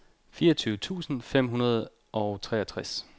fireogtyve tusind fem hundrede og treogtres